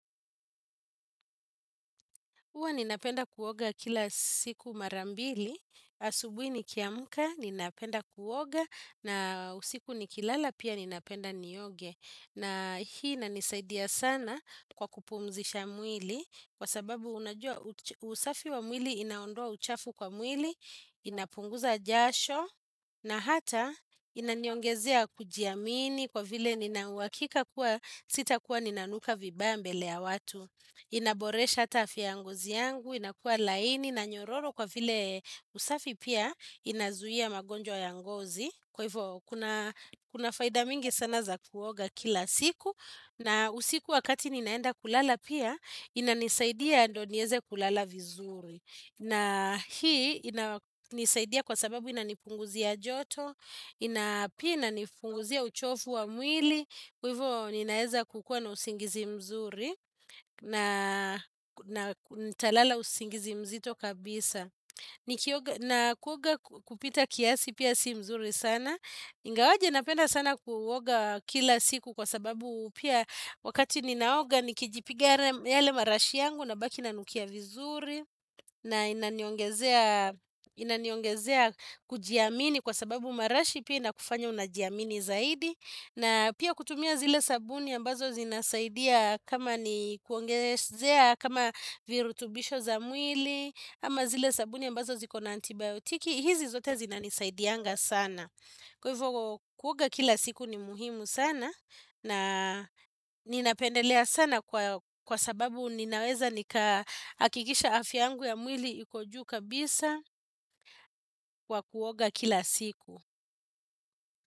Huwa ninapenda kuoga kila siku mara mbili, asubuhi ni kiamuka, ninapenda kuoga, na usiku ni kilala pia ninapenda nioge. Na hii inanisaidia sana kwa kupumzisha mwili kwa sababu unajua usafi wa mwili inaondoa uchafu kwa mwili inapunguza jasho na hata inaniongezea kujiamini kwa vile ninauhakika kuwa sitakuwa ninanuka vibaya mbele ya watu. Inaboresha hata afya ya ngozi yangu, inakuwa laini na nyororo kwa vile usafi pia inazuia magonjwa ya ngozi. Kwa hivyo kuna faida mingi sana za kuoga kila siku. Na usiku wakati ninaenda kulala pia inanisaidia ndo nieze kulala vizuri. Na hii ina nisaidia kwa sababu inanipunguzia joto. Ina pia inifunguzia uchovu wa mwili. Kwa hivyo ninaeza kukua na usingizi mzuri. Na nitalala usingizi mzito kabisa. Na kuoga kupita kiasi pia si mzuri sana. Ingawaje napenda sana kuoga kila siku kwa sababu pia wakati ninaoga nikijipiga yale marashi yangu na baki nanukia vizuri. Na inaniongezea kujiamini kwa sababu marashi pia inakufanya unajiamini zaidi. Na pia kutumia zile sabuni ambazo zinasaidia kama ni kuongezea, kama virutubisho za mwili, ama zile sabuni ambazo ziko na antibiotiki, hizi zote zina nisaidianga sana. Kwa hivyo kuoga kila siku ni muhimu sana na ninapendelea sana kwa sababu ninaweza nikahakikisha afya yangu ya mwili iko juu kabisa kwa kuoga kila siku.